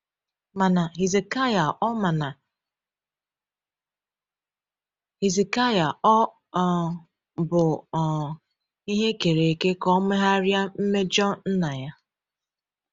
Mana Hizikaịa ọ Mana Hizikaịa ọ um bụ um ihe e kere eke ka ọ megharịa mmejọ nna ya?